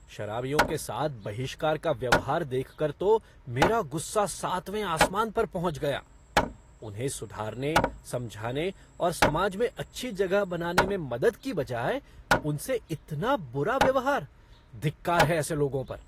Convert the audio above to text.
शराबियों के साथ बहिष्कार का व्यवहार देखकर तो मेरा गुस्सा सातवें आसमान पर पहुँच गया। उन्हें सुधारने, समझाने और समाज में अच्छी जगह बनाने में मदद की बजाय उनसे इतना बुरा व्यवहार, धिक्कार है ऐसे लोगों पर!